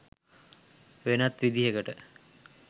වෙනත් විදිහකට.